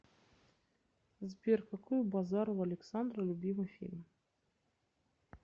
сбер какой у базарова александра любимый фильм